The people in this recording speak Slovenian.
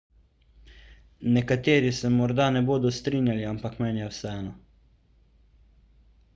nekateri se morda ne bodo strinjali ampak meni je vseeno